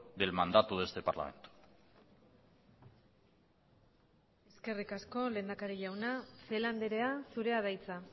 del mandato de este parlamento eskerrik asko lehendakari jauna celaá andrea zurea da hitza